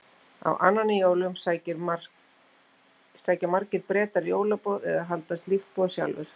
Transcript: Á annan í jólum sækja margir Bretar jólaboð eða halda slíkt boð sjálfir.